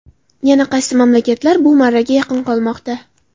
Yana qaysi mamlakatlar bu marraga yaqin qolmoqda?.